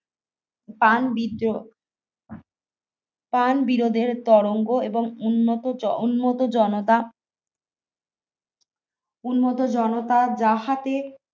স্থান বিরো স্থান বিরোধের তরঙ্গ এবং উন্ন উন্নত জনতা উন্নত জনতার যাহাতে